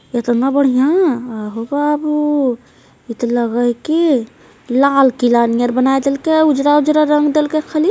एतना बढ़िया आहो बाबू ई त लग हइ की लाल किला नियर बनाय देलकै उजला उजला रंग देलकै खाली |